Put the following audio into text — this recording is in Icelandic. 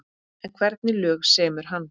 En hvernig lög semur hann?